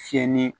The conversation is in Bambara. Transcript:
Fiyɛ ni